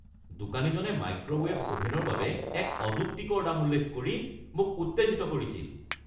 দোকানীজনে মাইক্ৰ'ৱেভ অভেনৰ বাবে এক অযুক্তিকৰ দাম উল্লেখ কৰি মোক উত্তেজিত কৰিছিল।